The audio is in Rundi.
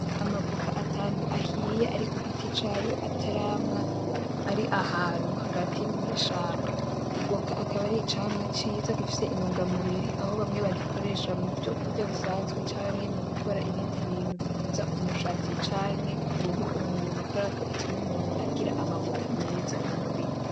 Amavoka atanu ahiye ari kugiti cayo atarama ari ahantu hagati mw'ishamba. Ivoka akaba ari icamwa ciza gifise akamaro mu mubiri aho bamwe bagikoresha muvyo kurya bisanzwe, canke mugukora ibindi bintu bikuza umushatsi, canke kumubiri w'umuntu kuberako ituma umuntu agira amavuta meza mu mubiri.